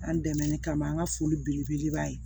An dɛmɛ ni kamɔ foli belebeleba ye